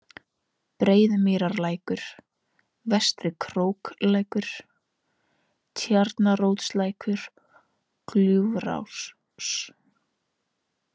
Breiðumýrarlækur, Vestri-Króklækur, Tjarnaróslækur, Gljúfursá